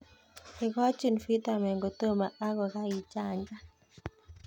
Ikochin pitamen kotomo ak kokaichanjan.